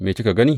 Me kika gani?